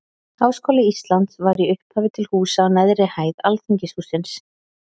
Háskóli Íslands var í upphafi til húsa á neðri hæð Alþingishússins.